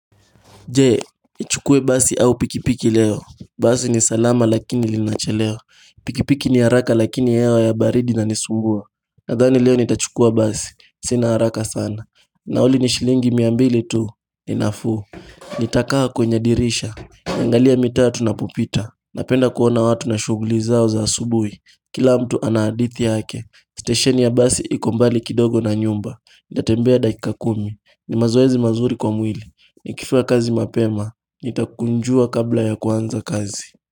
Je? Nichukue basi au pikipiki leo. Basi ni salama lakini linachelewa Pikipiki ni haraka lakini hewa ya baridi inanisumbua. Nadhani leo nitachukua basi. Sina haraka sana. Nauli ni shilingi mia mbili tu. Ni nafuu. Nitakaa kwenye dirisha. Niangalie mitaa tunapopita. Napenda kuona watu na shughuli zao za asubuhi. Kila mtu ana hadithi yake. Stasheni ya basi iko mbali kidogo na nyumba. Nita tembea dakika kumi. Ni mazoezi mazuri kwa mwili. Nikifika kazi mapema, nitakunjua kabla ya kuanza kazi.